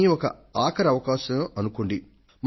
దీనిని ఒక ఆఖరి అవకాశం అనుకోండి